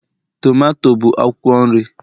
tomato bụ akwụkwọ nri